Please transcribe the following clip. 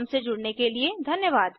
हमसे जुड़ने के लिए धन्यवाद